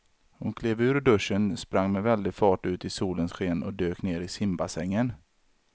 Hon klev ur duschen, sprang med väldig fart ut i solens sken och dök ner i simbassängen.